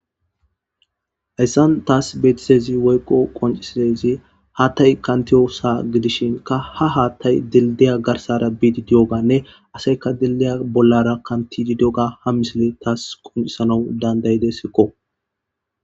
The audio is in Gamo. Hayssan taas beetisezi woyqo qoncisidezi haattay kantiyosa gidishinka ha haattay dildiya garsara biidi diyoganne asayka dildiya bollara kantidi dioga ha misile taas qoncisana dandayide sikko.